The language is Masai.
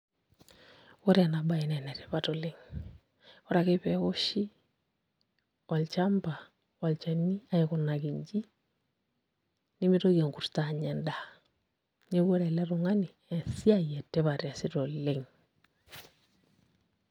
Ore ena baye naa enetipat oleng', ore ake pee eoshi olchamba olchani nemitoki enkurto anya endaa neeku ore ele tung'ani esiai etipat eesita oleng'.